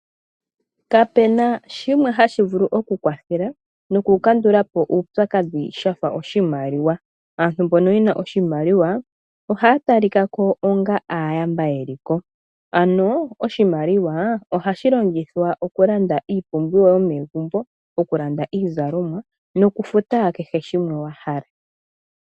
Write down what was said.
Kapena shimwe hashi vulu oku kwathela noku kandulapo uupyakadhi shafa oshimaliwa ,aantu mbono yena oshimaliwa ohaa talikako onga aayamba yeliko ano oshimaliwa ohashi longithwa oku landa iipumbiwa yomegumbo ,oku land iizalomwa nokufuta kehe shimwe wahala.